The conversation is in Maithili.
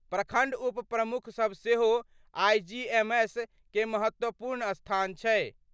प्रखंड उप प्रमुख सभ सेहो आईजीएमएस कें महत्वपूर्ण स्थान छै।